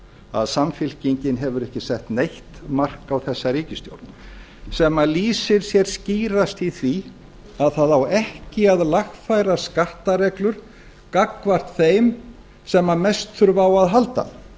að samfylkingin hefur ekki sett neitt mark á þessa ríkisstjórn sem lýsir sér skýrast í því að það á ekki að lagfæra skattareglur gagnvart þeim sem mest þurfa á að halda